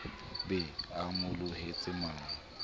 be a mo lohetse mano